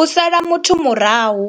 U sala muthu murahu